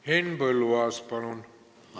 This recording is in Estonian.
Henn Põlluaas, palun!